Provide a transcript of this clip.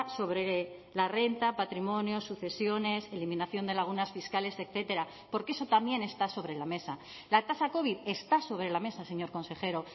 sobre la renta patrimonio sucesiones eliminación de lagunas fiscales etcétera porque eso también está sobre la mesa la tasa covid está sobre la mesa señor consejero